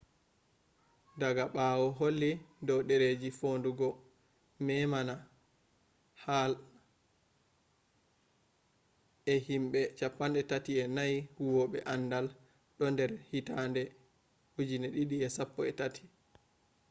daaga ɓawo holli dow ɗereji foɗugo memama hall e himɓe 34 huwoɓe aandal do nder hitade 2013